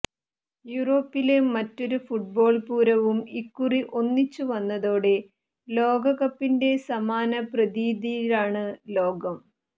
യൂറോപ്പില് മറ്റൊരു ഫുട്ബോള് പൂരവും ഇക്കുറി ഒന്നിച്ചു വന്നതോടെ ലോകകപ്പിന്റെ സമാന പ്രതീതിയിലാണ് ലോകം